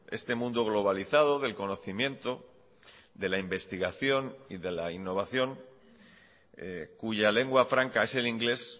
este mundo globalizado del conocimiento de la investigación y de la innovación cuya lengua franca es el inglés